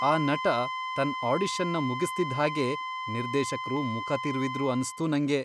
ಆ ನಟ ತನ್ ಆಡಿಷನ್ನ ಮುಗಿಸ್ತಿದ್ಹಾಗೇ ನಿರ್ದೇಶಕ್ರು ಮುಖ ತಿರುವಿದ್ರು ಅನ್ಸ್ತು ನಂಗೆ.